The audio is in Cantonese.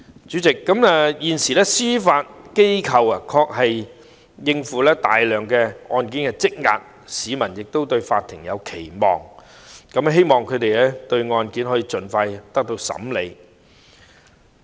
主席，現時司法機構的確要應付大量積壓的案件，市民亦期望法庭可以盡快審理案件。